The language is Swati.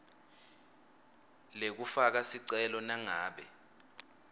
lekufaka sicelo nangabe